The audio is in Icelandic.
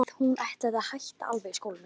Að hún ætlaði að hætta alveg í skólanum.